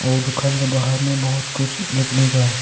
और दुकान के बाहर में बहुत कुछ दिख रहा है।